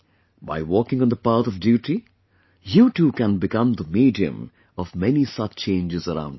By walking on the path of duty, you too can become the medium of many such changes around you